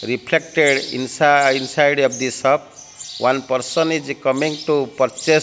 reflected insi inside of this shop one person is coming to purchase --